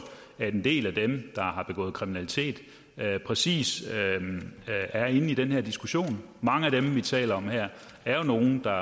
at en del af dem der har begået kriminalitet præcis er inde i den her diskussion mange af dem vi taler om her er jo nogle der